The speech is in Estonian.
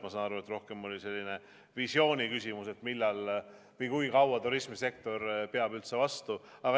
Ma sain aru, et see oli rohkem selline visiooniküsimus, et kui kaua turismisektor üldse vastu peab.